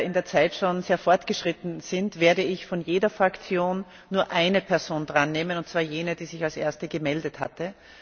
Da wir in der Zeit schon sehr fortgeschritten sind, werde ich von jeder Fraktion nur einer Person das Wort erteilen, und zwar jener, die sich als erste gemeldet hatte.